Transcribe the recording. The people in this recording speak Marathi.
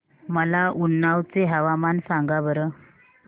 मला उन्नाव चे हवामान सांगा बरं